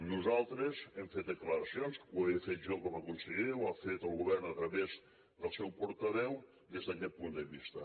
nosaltres hem fet declaracions ho he fet jo com a conseller ho ha fet el govern a través del seu portaveu des d’aquest punt de vista